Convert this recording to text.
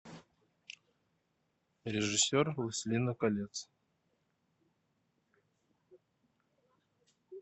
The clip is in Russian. режиссер властелина колец